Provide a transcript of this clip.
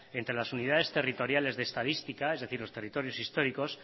entre las unidades territoriales de estadísticas es decir los territorios históricos